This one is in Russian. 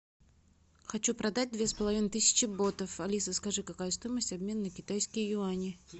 хочу продать две с половиной тысячи ботов алиса скажи какая стоимость обмена на китайские юани